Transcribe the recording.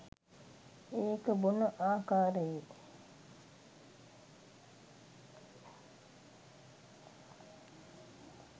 ඒක බොන ආකාරයේ